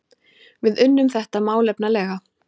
Við unnum þetta málefnalega